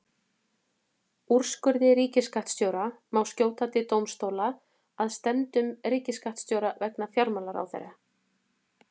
Úrskurði ríkisskattstjóra má skjóta til dómstóla að stefndum ríkisskattstjóra vegna fjármálaráðherra.